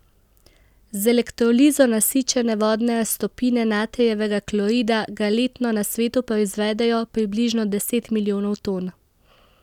Z elektrolizo nasičene vodne raztopine natrijevega klorida ga letno na svetu proizvedejo približno deset milijonov ton.